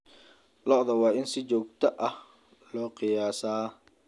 Lo'da waa in si joogto ah loo qiyaasaa.